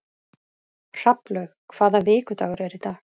Hrafnlaug, hvaða vikudagur er í dag?